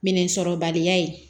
Minɛnsɔrɔbaliya ye